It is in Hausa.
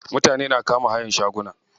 Mutane na kama hayan shaguna.